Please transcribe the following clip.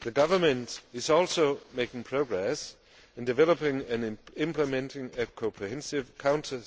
The government is also making progress in developing and implementing a comprehensive counter